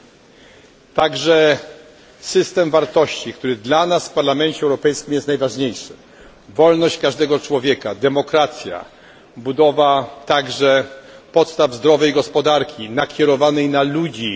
Podziela także system wartości, który dla nas w Parlamencie Europejskim jest najważniejszy wolność każdego człowieka, demokracja, budowa zdrowej gospodarki nakierowanej na ludzi.